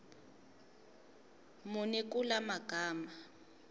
muni kula magama